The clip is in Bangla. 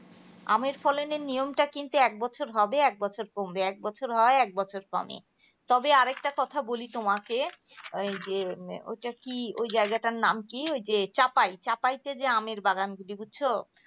আমের ফলনের নিয়মটা কিন্তু এক বছর হবে এক বছর কমবে এক বছর হবে এক বছর কমবে. তবে আর একটা কথা বলি তোমাকে ওই যে ওটা কি ওই জায়গাটার নাম কি ওই যে চাপায় চাপাইতে যে আমের বাগান আছে. বুঝছো